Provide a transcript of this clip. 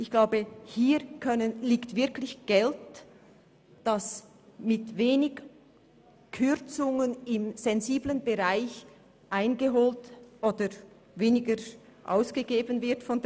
Ich glaube, hier liegt wirklich Geld, das durch geringe Kürzungen in sensiblen Bereichen weniger ausgegeben würde.